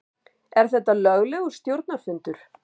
Er þetta löglegur stjórnarfundur?